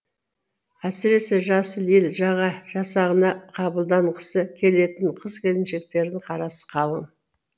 әсіресе жасыл ел жасағына қабылданғысы келетін қыз келіншектердің қарасы қалың